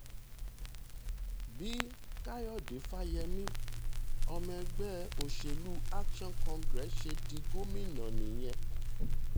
bí káyọ̀dé fáyemí ọmọ ẹgbẹ́ òsèlú action congress ṣe di gómìnà nìyẹn